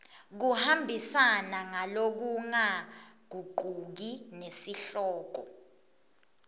kuhambisana ngalokungagucuki nesihloko